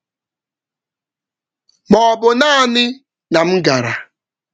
Mgbe mmemme ahụ gasịrị, m jụrụ onwe m ma m nyere aka n’ezie ma ọ um bụ na m gara um naanị.